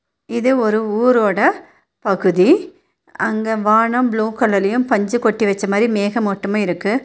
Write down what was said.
இது ஒரு ஊரோட பகுதி அங்க வானம் ப்ளூ கலர்லயும் பஞ்சு கொட்டி வெச்சமாரி மேகமூட்டமு இருக்கு.